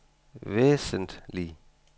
væsentlig